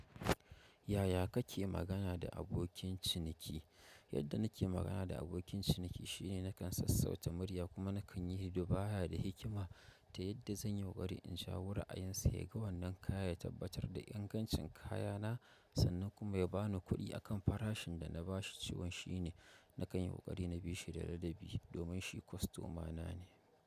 Yaya kake magana da abokin ciniki? Yadda nake magana da abokin ciniki shine nakan sassauta murya kuma nakan yi hiduba da hikima ta yadda zan yi ƙoƙari in shawo ra a yin sa ya. Ga wannan kaya ya tabbatar da ingancin kaya na, sannan kuma ya ba ni kuɗi a kan farashin da na ba shi, shi wani shine nakan yi ƙoƙari na bi shi da ladabi domin shi kwastomana ne.